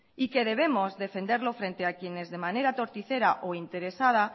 y que debemos defenderlo frente a quienes de manera torticera o interesada